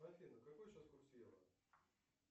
афина какой сейчас курс евро